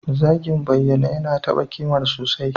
Zagin bayyane yana taba kimar sosai.